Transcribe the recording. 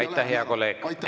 Aitäh, hea kolleeg!